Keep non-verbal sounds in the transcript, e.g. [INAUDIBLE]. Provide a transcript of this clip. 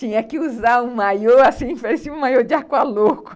Tinha que usar um maiô, assim, [LAUGHS] parecia um maiô de aqualouco. [LAUGHS]